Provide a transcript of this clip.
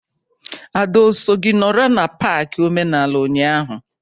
Ada o so gị nọrọ n'pak omenala ụnyaahụ?